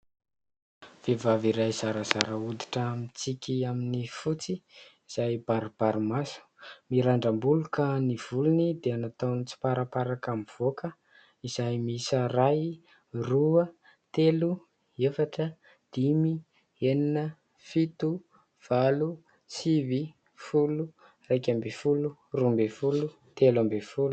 Vehivavy iray zarazara hoditra mitsiky amin'ny fotsy izay baribarimaso, mirandram-bolo ka ny volony dia nataony mitsiparaparaka mivoaka izay miisa : iray, roa, telo, efatra, dimy, enina, fito, valo, sivy, folo, iraika ambin'ny folo, roa ambin'ny folo, telo ambin'ny folo.